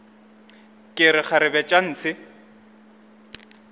ke re kgarebe tša ntshe